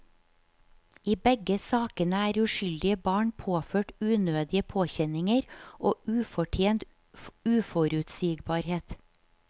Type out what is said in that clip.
I begge sakene er uskyldige barn påført unødige påkjenninger og ufortjent uforutsigbarhet.